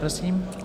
Prosím.